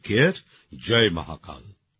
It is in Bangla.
টেক কারে জয় মহাকাল